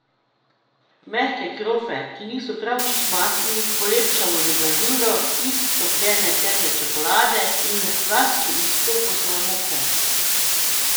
Mehke krofe, ki niso prav nič mastni, polepšamo z glazuro iz topljene temne čokolade in laski iz kokosove moke.